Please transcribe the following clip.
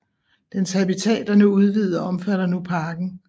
Dens habitat er nu udvidet og omfatter nu parken